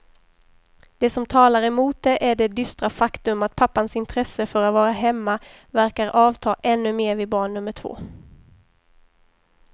Det som talar emot det är det dystra faktum att pappans intresse för att vara hemma verkar avta ännu mer vid barn nummer två.